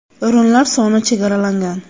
O‘rinlar soni chegaralangan!